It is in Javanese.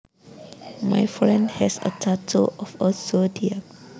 My friend has a tattoo of a zodiac